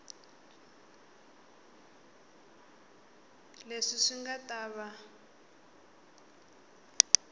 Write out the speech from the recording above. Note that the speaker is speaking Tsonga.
leswi swi nga ta va